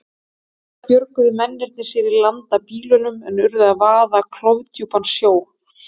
Auðvitað björguðu mennirnir sér í land af bílnum en urðu að vaða klofdjúpan sjó.